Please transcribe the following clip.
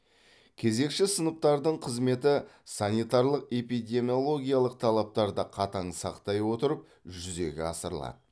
кезекші сыныптардың қызметі санитарлық эпидемиологиялық талаптарды қатаң сақтай отырып жүзеге асырылады